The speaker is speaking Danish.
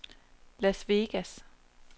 Las Vegas